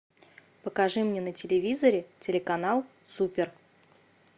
покажи мне на телевизоре телеканал супер